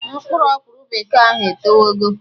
Mkpụrụ ọkwụrụ bekee ahụ etowe go